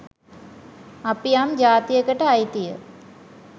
අපි යම් ජාතියකට අයිතිය